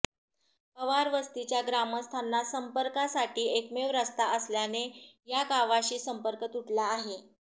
पवारवस्तीच्या ग्रामस्थांना संपर्कांसाठी एकमेव रस्ता असल्याने या गावाशी संपर्क तुटला आहे